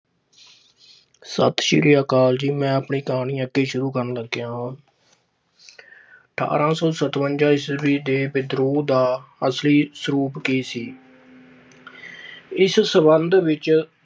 ਸਤਿ ਸ੍ਰੀ ਅਕਾਲ ਜੀ। ਮੈਂ ਆਪਣੀ ਕਹਾਣੀ ਅੱਗੇ ਸ਼ੁਰੂ ਕਰਨ ਲੱਗਿਆ ਹਾਂ। ਅਠਾਰਾਂ ਸੌ ਸਤਵੰਜਾ ਈਸਵੀ ਦੇ ਵਿਦਰੋਹ ਦਾ ਅਸਲੀ ਸਰੂਪ ਕੀ ਸੀ ਇਸ ਸਬੰਧ ਵਿੱਚ